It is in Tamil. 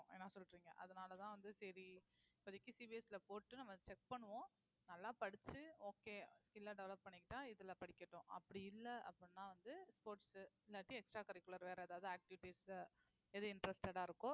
என்ன சொல்றீங்க அதனாலதான் வந்து சரி இப்போதைக்கு CBSE ல போட்டு நம்ம check பண்ணுவோம் நல்லா படிச்சு okay skill ல develop பண்ணிக்கிட்டா இதுல படிக்கட்டும் அப்படி இல்ல அப்படின்னா வந்து sports இல்லாட்டி extra curricular வேற ஏதாவது activities எது interested ஆ இருக்கோ